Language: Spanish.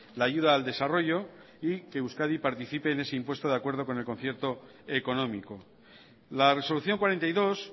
la ayuda al desarrollo y que euskadi participe en ese impuesto de acuerdo con el concierto económico la resolución cuarenta y dos